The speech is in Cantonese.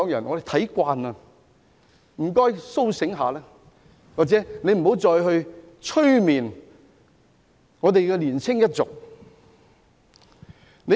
我們看慣了，請他們甦醒過來，或不要再催眠香港的年輕一族。